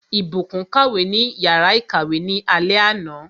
Ìbùkún kàwé ní yàrá ìkàwé ní alé àná.